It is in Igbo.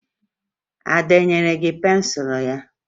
Ada e nyere gị pensụlụ ya?